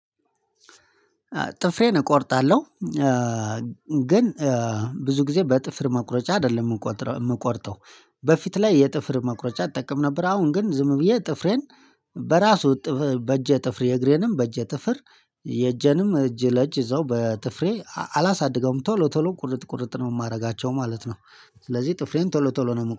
ጥፍሬን እቆርጣለሁ። ግን ብዙ ጊዜ በጥፍር መቁረጫ አይደለም የምቆርጠው በፊት ላይ የጥፍር መቁረጫ እጠቀም ነበር። አሁን ግን ዝም ብዬ ጥፍሬን በራሱ በእጄ ጥፍሬ እግሬንም በእጄ ጥፍር የእጄንም እጅ ለእጅ ይዘው በጥፍሬ አላሳድገውም ቶሎ ቶሎ ቁርጥ ቁርጥ ነው የማደርጋቸው ማለት ነው። ስለዚህ ጥፍሬን ቶሎ ቶሎ ነው